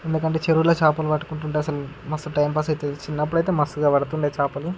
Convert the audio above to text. ఎందుకంటే చెరువులో చేపలు పట్టుకుంటుంటే అసలు మస్తు టైం పాస్ అయితది. చిన్నప్పుడైతే మస్తు గా పడుతుండే చేపలు--